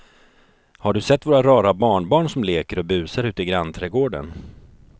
Har du sett våra rara barnbarn som leker och busar ute i grannträdgården!